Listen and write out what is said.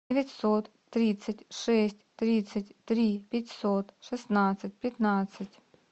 девятьсот тридцать шесть тридцать три пятьсот шестнадцать пятнадцать